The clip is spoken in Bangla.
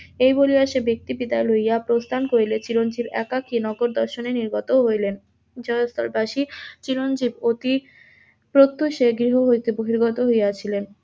এই বলিয়া সেই ব্যাক্তি বিদায় লইয়া প্রস্থান করিলে চিরঞ্জীব একাকি নগর দর্শনে নির্গত হইলেন, জয়স্থলবাসি চিরঞ্জীব অতি প্রত্যহ সে গৃহ হইতে বহির্গত হইয়াছিলেন,